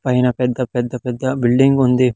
పైన పెద్ద పెద్ద పెద్ద బిల్డింగ్ ఉంది.